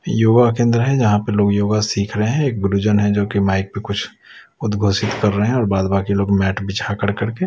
युवा केंद्र है जहां पर लोग योगा सीख रहे हैं एक गुरुजन है जो कि माइक पे कुछ उद्घोषित कर रहे हैं और बाद बाकी लोग मैट बिछा कर करके--